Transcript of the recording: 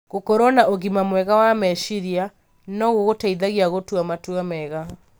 Gũkorũo na ũgima mwega wa meciria no gũgũteithie gũtua matua mega.